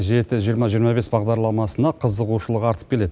жеті жиырма жиырма бес бағдарламасына қызығушылық артып келеді